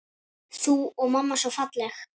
Þú og mamma svo falleg.